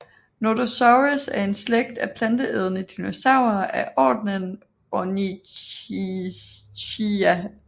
Nodosaurus er en slægt af planteædende dinosaurer af ordenen Ornithischia